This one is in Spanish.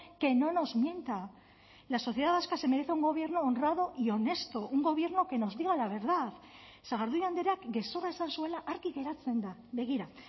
que no nos mienta la sociedad vasca se merece un gobierno honrado y honesto un gobierno que nos diga la verdad sagardui andreak gezurra esan zuela argi geratzen da begira